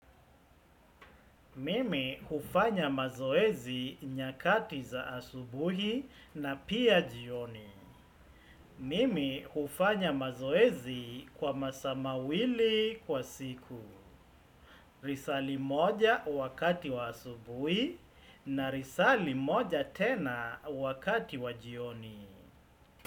Mimi hufanya mazoezi nyakati za asubuhi na pia jioni. Mimi hufanya mazoezi kwa masaa mawili kwa siku. Lisaa li moja wakati wa asubuhi na lisaa li moja tena wakati wa jioni.